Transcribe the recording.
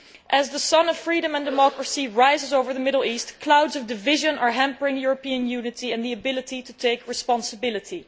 As the sun of freedom and democracy rises over the Middle East, clouds of division are hampering European unity and the ability to take responsibility.